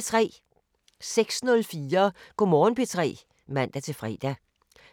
06:04: Go' Morgen P3 (man-fre)